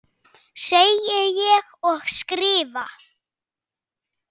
Segi ég og skrifa.